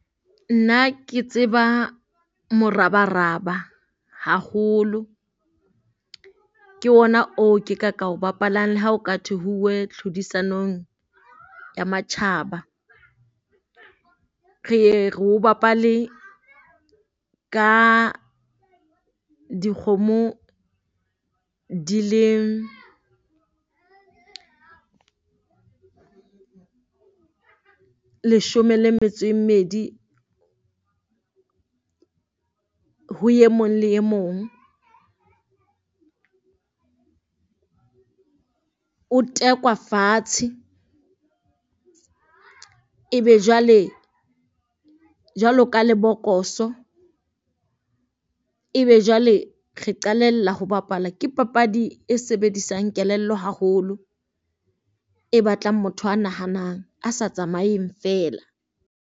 Nna ke tseba morabaraba hakgolo, ke ona o ke ka ka o bapalang le ha o ka thwe ho tlhodisanong ya matjhaba. Re re o bapale ka dikgomo di le leshome le metso e mmedi ho e mong le e mong. O tekwa fatshe ebe jwale jwalo ka lebokoso ebe jwale re qalella ho bapala. Ke papadi e sebedisang kelello haholo, e batlang motho a nahanang a sa tsamaeng feela.